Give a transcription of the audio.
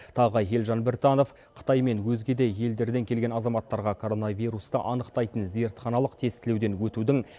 тағы елжан біртанов қытай мен өзге де елдерден келген азаматтарға коронавирусты анықтайтын зертханалық тестілеуден өтудің